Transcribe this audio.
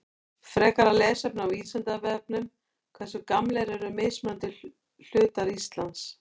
Frekara lesefni á Vísindavefnum Hversu gamlir eru mismunandi hlutar Íslands?